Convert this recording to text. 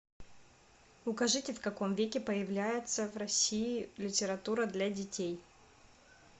укажите в каком веке появляется в россии литература для детей